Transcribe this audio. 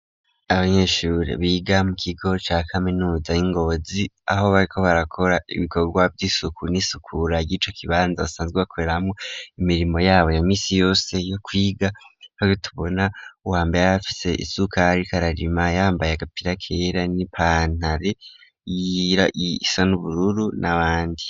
Abanyeshure biga mu kigo ca kaminuza y'i Ngozi, aho bariko barakora ibikorwa vy'isuku n'isukura y'ico kibanza basanzwe bakoreramwo imirimo yabo ya misi yose yo kwiga, aho tubona uwambere afise isuka, ariko ararima, yambaye agapira kera n'ipantaro isa n'ubururu n'abandi.